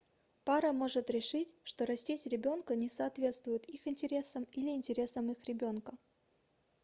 пара может решить что растить ребенка не соответствует их интересам или интересам их ребенка